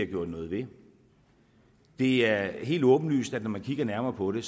gjort noget ved det er helt åbenlyst at når man kigger nærmere på det